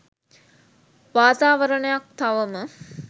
වාතාවරණයක් තවම